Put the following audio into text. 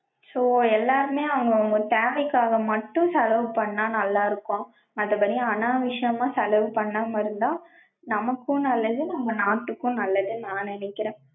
so எல்லாருமே அவங்கவங்க தேவைக்காக மட்டும் செலவு பண்ணா நல்லா இருக்கும். மத்த படி அனாவசியமா செலவு பண்ணாம இருந்தா நமக்கும் நல்லது நம்ம நாட்டுக்கும் நல்லதுன்னு நா நெனைக்றேன்.